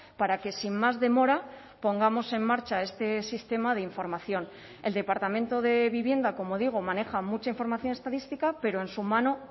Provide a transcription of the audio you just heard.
para que sin más demora pongamos en marcha este sistema de información el departamento de vivienda como digo maneja mucha información estadística pero en su mano